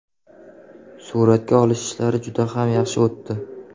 Suratga olish ishlari juda ham yaxshi o‘tdi.